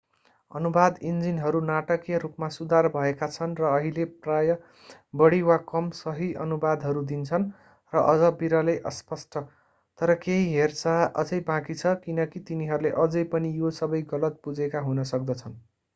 अनुवाद इन्जिनहरू नाटकीय रूपमा सुधार भएका छन् र अहिले प्रायः बढी वा कम सही अनुवादहरू दिन्छन् र अझ विरलै अस्पष्ट तर केही हेरचाह अझै बाँकी छ किनकी तिनीहरूले अझै पनि यो सबै गलत बुझेका हुन सक्दछन्।